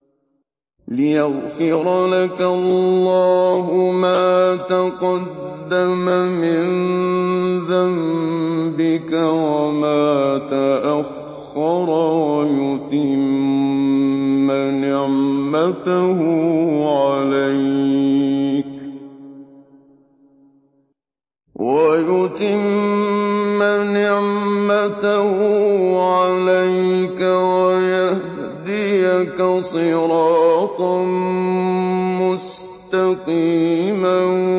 لِّيَغْفِرَ لَكَ اللَّهُ مَا تَقَدَّمَ مِن ذَنبِكَ وَمَا تَأَخَّرَ وَيُتِمَّ نِعْمَتَهُ عَلَيْكَ وَيَهْدِيَكَ صِرَاطًا مُّسْتَقِيمًا